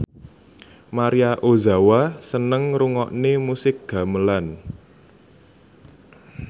Maria Ozawa seneng ngrungokne musik gamelan